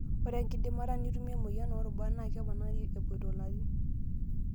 Ore enkidimata nitumie emoyian oorubat naa keponari epoito larin.